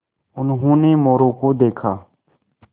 उन्होंने मोरू को देखा